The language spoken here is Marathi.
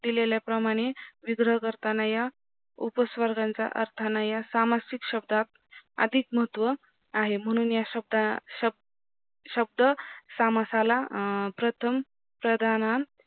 दिलेले प्रमाणे विग्रह करताना या उपस्वर्गांचा अर्थना या सामासिक शब्दात अधिक महत्व आहे म्हणून या शब्दाना समासाला प्रथम प्रधाना